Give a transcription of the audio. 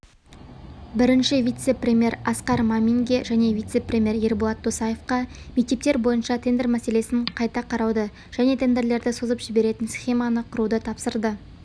бірінші вице-премьер асқар маминге және вице-премьер ерболат досаевқа мектептер бойынша тендер мәселесін қайта қарауды және тендерлерді созып жіберетін схеманы құртуды тапсырды